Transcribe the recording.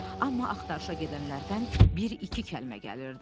Amma axtarışa gedənlərdən bir-iki kəlmə gəlirdi.